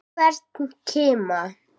Hvern kima.